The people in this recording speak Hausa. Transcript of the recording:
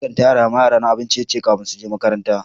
Na kan tara ma yara na abin ciye-ciye ko wani rana kafin su je makaranta.